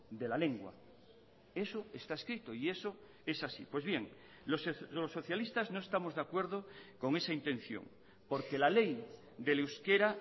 de la lengua eso está escrito y eso es así pues bien los socialistas no estamos de acuerdo con esa intención porque la ley del euskera